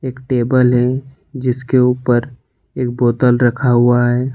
एक टेबल है जिसके ऊपर एक बोतल रखा हुआ है।